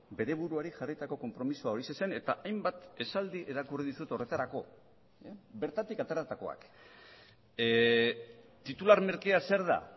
bere buruari jarritako konpromisoa horixe zen eta hainbat esaldi irakurri dizut horretarako bertatik ateratakoak titular merkea zer da